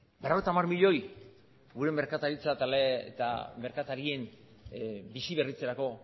berrogeita hamar milioi gure merkataritza eta merkatarien bizi berritzerako